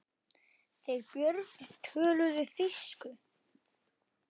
Þeir Björn töluðu þýsku.